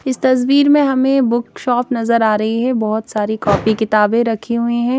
इस तस्वीर में हमे बुकशॉप नज़र आरही है बहोत सारी कॉपी किताबे रखी हुई है।